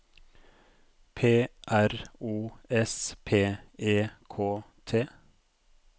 P R O S P E K T